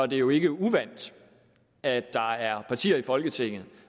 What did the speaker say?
det jo ikke er uvant at der er partier i folketinget